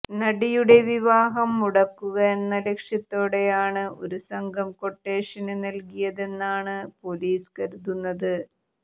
നടിയുടെ വിവാഹം മുടക്കുക എന്ന ലക്ഷ്യത്തോടെയാണ് ഒരു സംഘം ക്വട്ടേഷന് നല്കിയതെന്നാണ് പൊലീസ് കരുതുന്നത്